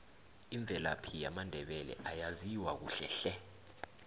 imvelaphi yamandebele ayaziwa kuhle hle